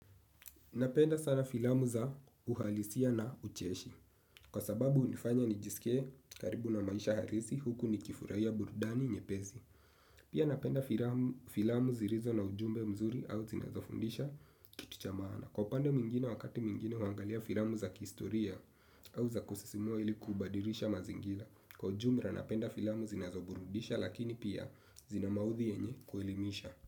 Napenda sana filamu za uhalisia na ucheshi. Kwa sababu unifanya nijisikie karibu na maisha harisi huku nikifurai ya burudani nyepezi. Pia napenda filamu zirizo na ujumbe mzuri au zinazofundisha kitu cha mana. Kwa upande mingine wakati mingine wangalia filamu za kistoria au za kusisimua ili kubadirisha mazingira. Kwa jumra napenda filamu zinazoburudisha lakini pia zina mawuthi yenye kuelimisha.